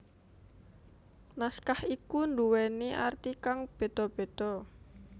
Naskah iku nduweni arti kang beda beda